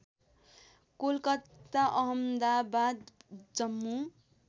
Kolkata Ahmedabad Jammu